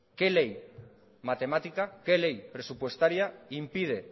qué ley matemática que ley presupuestaria impide